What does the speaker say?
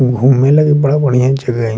घूमे लगी बड़ा-बढ़िया जगह हेय इ।